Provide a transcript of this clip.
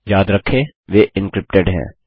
याद रखें वे एंक्रिप्टेड हैं